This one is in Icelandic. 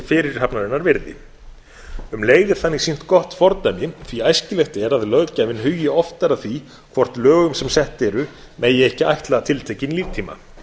fyrirhafnarinnar virði um leið er þannig sýnt gott fordæmi því æskilegt er að löggjafinn hugi oftar að því hvort lögum sem sett eru megi ekki ætla tiltekinn líftíma